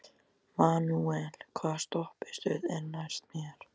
Manuel, hvaða stoppistöð er næst mér?